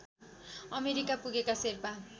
America पुगेका शेर्पा